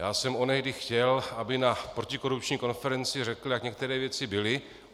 Já jsem onehdy chtěl, aby na protikorupční konferenci řekl, jak některé věci byly.